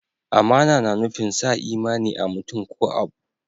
Amana na nufin sa imani a'mutum ko abu.